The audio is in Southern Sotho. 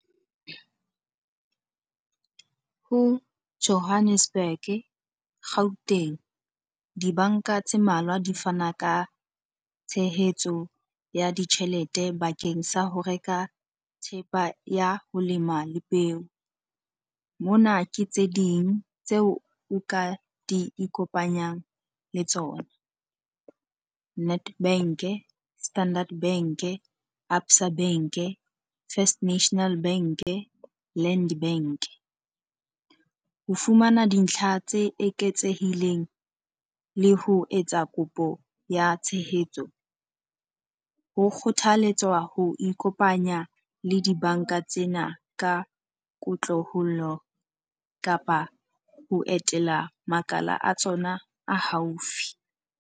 Ho Johannesburg, Gauteng, dibanka tse mmalwa di fana ka tshehetso ya ditjhelete bakeng sa ho reka thepa ya ho lema le peo. Mona ke tse ding tseo o ka di ikopanyang le tsona. Nedbank-e, Standard Bank-e, Absa Bank-e, First National Bank-e, Land Bank-e. Ho fumana dintlha tse eketsehileng le ho etsa kopo ya tshehetso ho kgothalletswa ho ikopanya le dibanka tsena ka kotloholo kapa ho etela makala a tsona a haufi.